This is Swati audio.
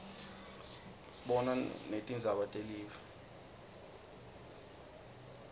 sibona netingzaba telive